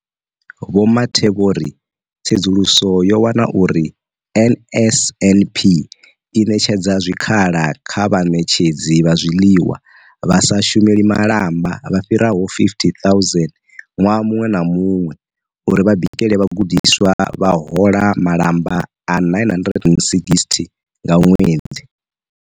Vho Mathe vho ri tsedzuluso yo wana uri NSNP i ṋetshedza zwikhala kha vhaṋetshedzi vha zwiḽiwa vha sa shumeli malamba vha fhiraho 50 000 ṅwaha muṅwe na muṅwe uri vha bikele vhagudiswa, vha hola malamba a R960 nga ṅwedzi.